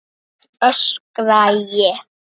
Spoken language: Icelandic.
öskra ég.